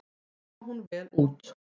Kom hún vel út.